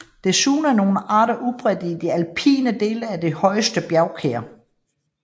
Desuden er nogle arter udbredt i de alpine dele af de højeste bjergkæder